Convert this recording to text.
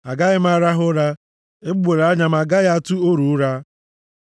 agaghị m arahụ ụra, egbugbere anya m agaghị atụ oru ụra,